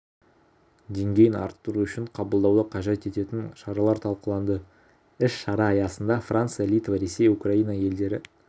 деңгейін арттыру үшін қабылдауды қажет ететін шаралар талқыланды іс-шара аясында франция литва ресей украина елдері